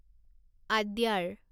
আদ্যাৰ